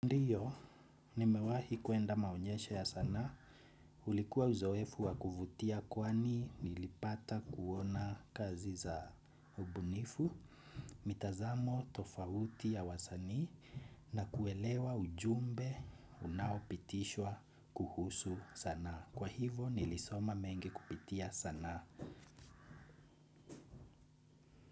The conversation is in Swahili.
Ndiyo, nimewahi kuenda maonyesha ya sanaa. Ulikuwa uzoefu wa kuvutia kwani nilipata kuona kazi za ubunifu, mitazamo tofauti ya wasanii, na kuelewa ujumbe unaopitishwa kuhusu sanaa. Kwa hivyo nilisoma mengi kupitia sanaa.